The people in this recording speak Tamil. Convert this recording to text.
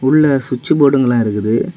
உள்ள சுவிட்ச் போர்டுங்கலாம் இருக்குது.